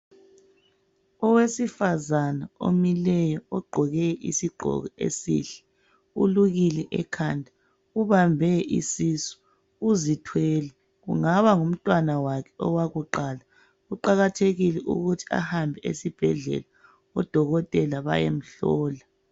Owesifazana omileyo, ogqoke isigqoko esihle ulukile ekhanda ubambe isisu uzithwele kungaba ngumntwana wakhe owokuqala. Kuqakathekile ukuthi ahambe esibhedlela odokotela bayemhlola.